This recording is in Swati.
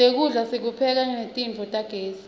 nekudla sikupheka netitofu tagezi